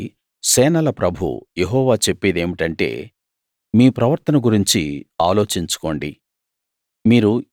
కాబట్టి సేనల ప్రభువు యెహోవా చెప్పేదేమిటంటే మీ ప్రవర్తన గురించి ఆలోచించుకోండి